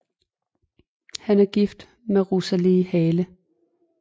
Han er gift med Rosalie Hale